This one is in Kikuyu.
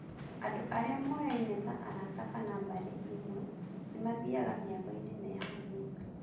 Andũ arĩa moyaine ta arata kana mbarĩ imwe nĩmathiaga mĩagoinĩ me hamwe.